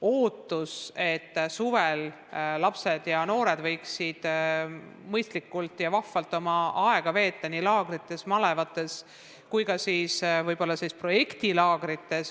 Ootus, et suvel lapsed ja noored võiksid mõistlikult ja vahvalt oma aega veeta nii laagrites, malevates kui ka võib-olla projektilaagrites, on suur.